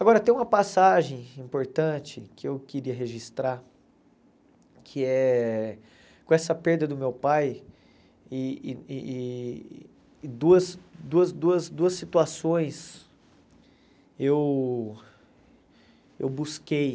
Agora, tem uma passagem importante que eu queria registrar, que é com essa perda do meu pai e e e duas duas duas duas situações eu eu busquei.